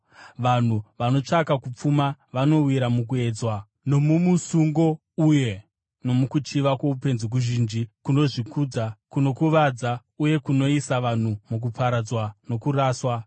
Vanhu vanotsvaka kupfuma vanowira mukuedzwa nomumusungo uye nomukuchiva kwoupenzi kuzhinji kunokuvadza uye kunoisa vanhu mukuparadzwa nokuraswa.